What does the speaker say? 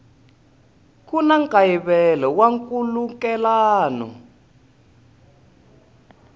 ku na nkayivelo wa nkhulukelano